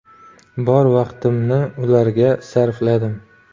Bor vaqtimni ularga sarfladim.